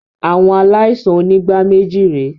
Àwọn aláìsàn onígbáméjì re